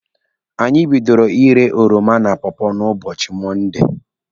Anyị bidoro írē oroma na pọọpọọ na ụbọchị Mọnde.